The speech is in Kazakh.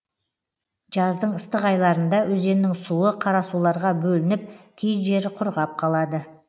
жаздың ыстық айларында өзеннің суы қарасуларға бөлініп кей жері құрғап қалады